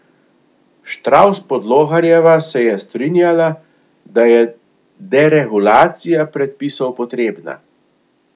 Štravs Podlogarjeva se je strinjala, da je deregulacija predpisov potrebna.